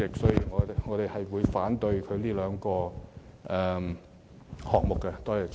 主席，我們會反對有關的修正案。